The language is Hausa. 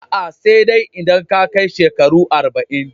A'a, sai dai idan ka kai shekaru arba'in